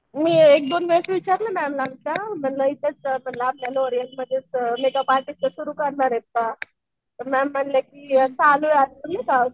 मी एक दोन वेळेस विचारलं मॅमला आमच्या म्हणलं म्हणलं आपल्या मधेच मेकअप आर्टिस्ट सुरु करायचं का? तर मॅम म्हणल्या की